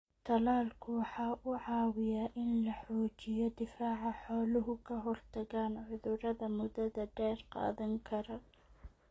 Tallaalku waxa uu caawiyaa in la xoojiyo difaaca xooluhu ka-hortagaan cudurrada muddada dheer qaadan kara.